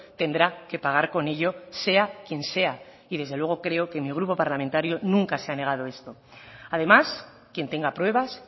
tendrá que pagar con ello sea quien sea y desde luego creo que mi grupo parlamentario nunca se ha negado esto además quien tenga pruebas